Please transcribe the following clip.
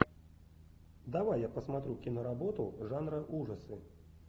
давай я посмотрю киноработу жанра ужасы